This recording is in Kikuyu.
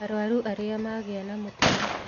Arũaru arĩá magĩa na mũtino